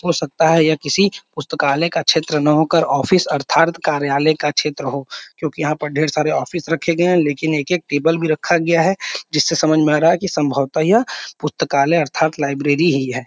हो सकता है यह किसी पुस्तकालय का क्षेत्र न हो कर ऑफिस अर्थात कार्यालय का क्षेत्र हो क्योंकि यहाँ पर ढ़ेर सारे ऑफिस रखे गये है लेकिन एक एक टेबल भी रखा गया है जिससे समझ में आ रहा है सम्भवतः या पुस्तकालय अर्थात लाइब्रेरी ही है।